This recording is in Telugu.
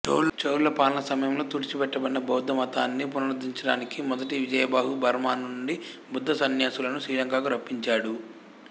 చోళుల పాలనా సమయంలో తుడిచిపెట్టబడిన భౌద్ధమతాన్ని పునరుద్ధరించడానికి మొదటి విజయబాహు బర్మా నుండి బుద్ధ సన్యాసులను శ్రీలంకకు రప్పించాడు